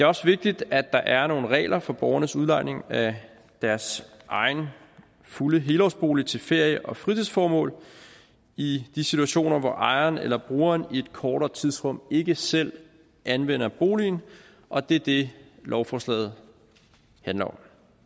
også vigtigt at der er nogle regler for borgernes udlejning af deres egen fulde helårsbolig til ferie og fritidsformål i de situationer hvor ejeren eller brugeren i et kortere tidsrum ikke selv anvender boligen og det er det lovforslaget handler om